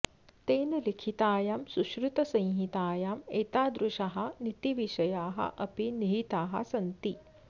तेन लिखितायां सुश्रुतसंहितायाम् एतादृशाः नीतिविषयाः अपि निहिताः सन्ति